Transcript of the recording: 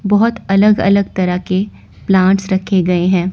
बहुत अलग-अलग तरह के प्लांट्स रखे गए हैं।